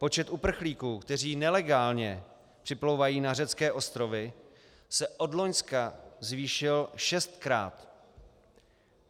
Počet uprchlíků, kteří nelegálně připlouvají na řecké ostrovy, se od loňska zvýšil šestkrát.